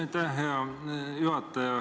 Aitäh, hea juhataja!